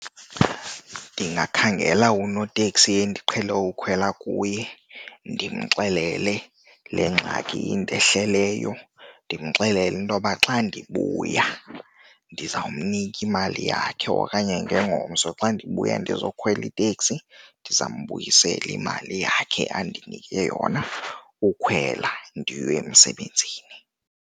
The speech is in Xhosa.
Ndingakhangela unoteksi endiqhele ukhwela kuye ndimxelele le ngxaki indehleleyo. Ndimxelele intoba xa ndibuya ndizawumnika imali yakhe okanye ngengomso xa ndibuya ndizokhwela iteksi, ndiza mbuyisela imali yakhe andinike yona ukhwela ndiye emsebenzini.